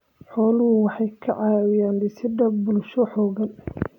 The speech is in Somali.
Xooluhu waxay ka caawiyaan dhisidda bulsho xooggan.